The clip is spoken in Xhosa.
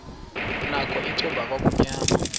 nakho icuba kwakumnyama